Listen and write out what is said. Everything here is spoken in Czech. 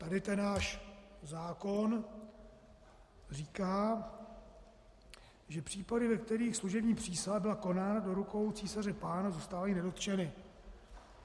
Tady ten náš zákon říká, že případy, ve kterých služební přísaha byla konána do rukou císaře pána, zůstávají nedotčeny.